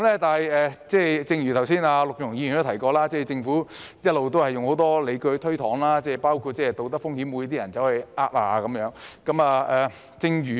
但是，正如剛才陸頌雄議員提到，政府一直用很多理據推搪，包括道德風險，即會否有人詐騙。